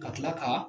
Ka tila ka